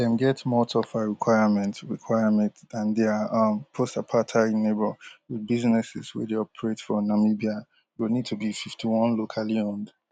dem get more tougher requirement requirement dan dia um postapartheid neighbour wit businesses wey dey operate for namibia go need to be fifty-one locally owned